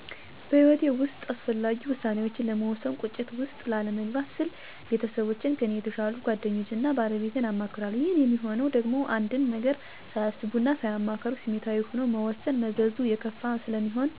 በሕይወቴ ውስጥ አስፈላጊ ውሳኔዎችን ለመወሰን ቁጭት ውስጥ ላለመግባት ስል ቤተሰቦቼን; ከኔ የተሻሉ ጓደኞቼን እና ባለቤቴን አማክራለሁ። ይህም ሚሆነው ደግሞ አንድን ነገር ሳያስቡ እና ሳያማክሩ ስሜታዊ ሆኖ መወሰን መዘዙ የከፋ ስለሚሆን እና በህይወት ውስጥ ትልቅ ጠባሳ ስለሚጥል ነው። ስለዚህም እንደዚህ አይነት ችግር እና ጣጣ ላለመግባት ተመካክሮ የጋራ ውሳኔ መወሰን በጣም አስፈላጊ እና መሰረታዊ ነው።